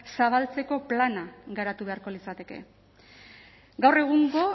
zabaltzeko plana garatu beharko litzateke gaur egungo